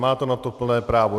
Máte na to plné právo.